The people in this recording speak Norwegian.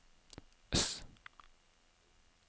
S